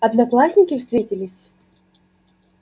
одноклассники встретились